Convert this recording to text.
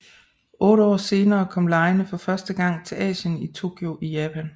Otte år senere kom legene for første gang til Asien i Tokyo i Japan